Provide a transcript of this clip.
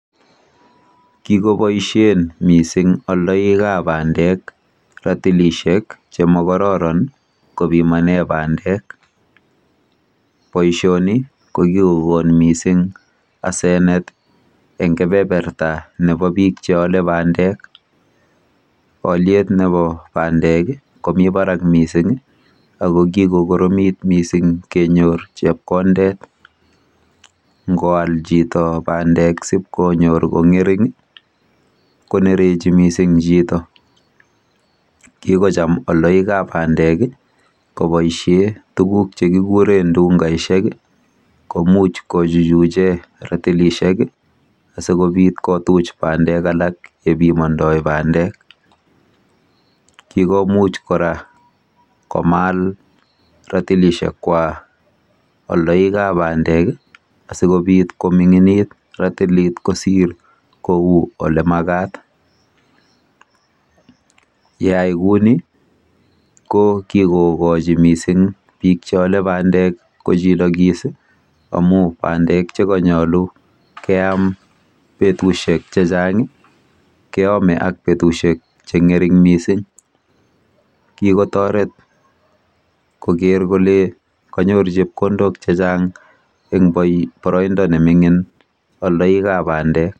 Kikoboishen mising aldoikap bandek ratilishek chemakororon kopimane bandek. Boishoni ko kikokon mising asenet eng kepeperta nepo biik cheole bandek. Alyet nepo bandek ko mi barak mising ako kikokoromit mising kenyor chepkondet, ngoal chito bandek sipkonyor kong'ering konerechi mising chito. Kikocham aldoikap bandek koboishe tuguk chekikure ndungaishek komuch kochuchuche ratilishek asikobit kotuch bandek alak yepimondoi bandek. Kikomuch kora komal ratilishekwa aldoikap bandek asikobit koming'init ratilit kosir kou olemakat. Yeay kouni ko kikokochi mising biik cheole bandek kochilokis amu bandek chekanyolu keam betushek chechang keame ak betushek chechang keame ak betushek cheng'ering mising. kikotoret koker kole kanyor chepkondok chechang eng boroindo nemining aldoikap bandek.